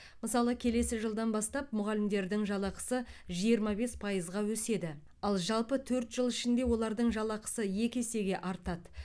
мысалы келесі жылдан бастап мұғалімдердің жалақысы жиырма бес пайызға өседі ал жалпы төрт жыл ішінде олардың жалақысы екі есеге артады